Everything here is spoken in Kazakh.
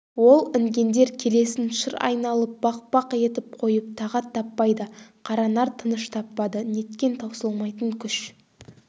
ол інгендер келесін шыр айналып бақ-бақ етіп қойып тағат таппайды қаранар тыныш таппады неткен таусылмайтын күш